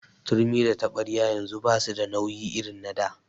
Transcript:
Turmi da taɓaryar yanzu basu da nauyi irin na da.